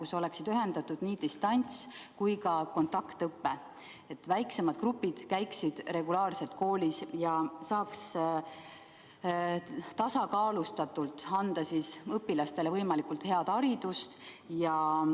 Selle korral oleks distants- ja kontaktõpe ühendatud, väiksemad grupid käiksid regulaarselt koolis ja saaks tasakaalustatult anda õpilastele võimalikult head haridust.